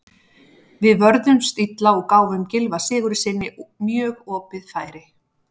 Við vörðumst illa og gáfum Gylfa Sigurðssyni mjög opið færi.